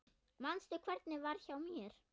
Manstu hvernig var hjá mér?